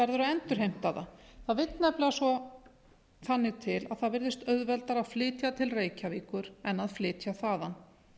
verður að endurheimta það það vill nefnilega þannig til að það virðist auðveldara að flytja til reykjavíkur en að flytja þaðan